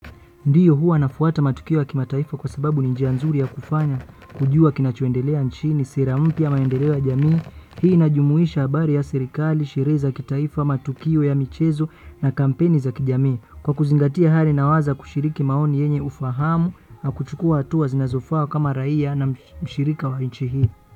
Ndiyo huwa nafuata matukio ya kimataifa kwa sababu ni njia nzuri ya kufanya kujua kinachoendelea nchini, ni sera mpya, maendeleo ya jamii, hii inajumuisha habari ya serikali, shughuli za kitaifa, matukio ya michezo na kampeni za kijamii. Kwa kuzingatia hali, naweza kushiriki maoni yenye ufahamu na kuchukua hatua zinazofaa kama raia na mshirika wa nchi hii.